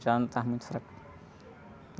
Já não... Estava muito fraco.